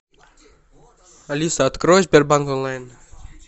алиса открой сбербанк онлайн